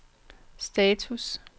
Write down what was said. status